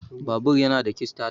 Babur yana da kistata